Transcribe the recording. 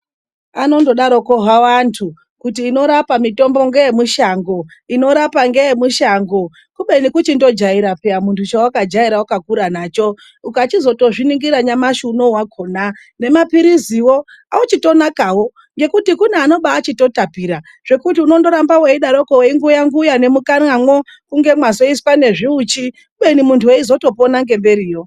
Vanongodaro havo vandu kuti inorapa mitombo ngeyemushango, kubeni kuchingojaira piya mundu chawakakura nacho. Ukazochizoningira nyamashi unowu wakona nemapirizi auchitonakawo ngekuti kune akuchitotapira zvekuti unoramba weidaroko weinguya nguya nemukanwamo kunge mazoiswa ngezviuchi, ubeni mundu eizopona ngemberiyo.